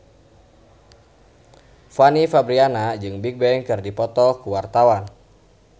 Fanny Fabriana jeung Bigbang keur dipoto ku wartawan